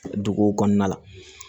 Duguw kɔnɔna la